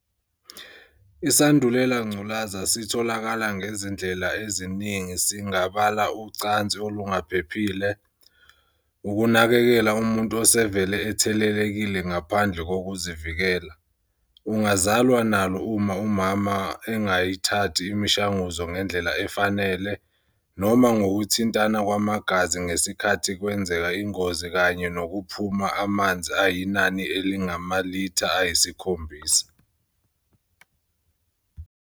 isandulelangculazi sitholakala ngezindlela eziningi singabala ucansi olungaphephile, ukunakekela umuntu osevele ethelelekile ngaphandle kokuzivikela, ungazalwa nalo uma umama engaythathi imshanguzo ngendllela efanele, noma ngokuthintana kwamagazi ngesikhathi kwenzeka ingozi kanye nokuphuma amnzi ayinani elingamalitha ayiskhombisa.